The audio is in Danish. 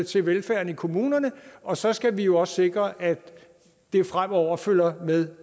til velfærden i kommunerne og så skal vi jo også sikre at det fremover følger med